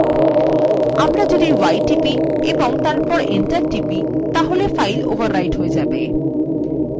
আমরা যদি y টিপি এবং তারপর enter টিপি তাহলে file overwrite হয়ে যায়